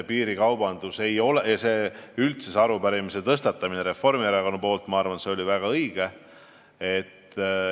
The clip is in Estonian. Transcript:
Üldse oli väga õige, et Reformierakond selle arupärimise esitas.